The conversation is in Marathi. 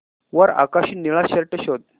वर आकाशी निळा शर्ट शोध